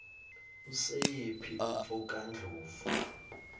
usiyephu umfo kandlovu